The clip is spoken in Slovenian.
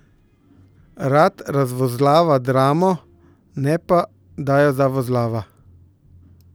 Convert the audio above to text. Rad razvozlava dramo, ne pa, da jo zavozlava!